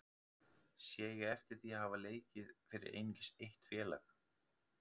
Sé ég heftir því að hafa leikið fyrir einungis eitt félag?